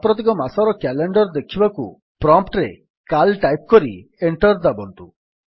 ସାମ୍ପ୍ରତିକ ମାସର କ୍ୟାଲେଣ୍ଡର୍ ଦେଖିବାକୁ ପ୍ରମ୍ପ୍ଟ୍ ରେ ସିଏଏଲ ଟାଇପ୍ କରି ଏଣ୍ଟର୍ ଦାବନ୍ତୁ